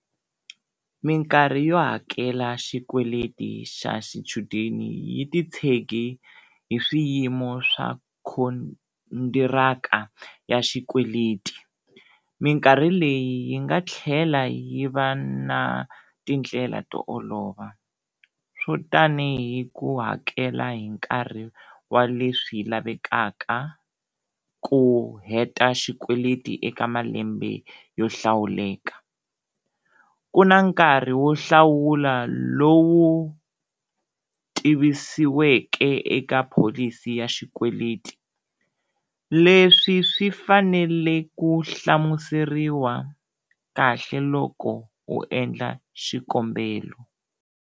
Minkarhi yo hakela xikweleti xa xichudeni yi titshege hi swiyimo swa khondiraka ya xikweleti, minkarhi leyi yi nga tlhela yi va na tindlela to olova, swo tanihi ku hakela hi nkarhi wa leswi lavekaka, ku heta xikweleti eka malembe yo hlawuleka. Ku na nkarhi wo hlawula lowu tivisiweke eka pholisi ya xikweleti, leswi swi fanele ku hlamuseriwa kahle loko u endla xikombelo.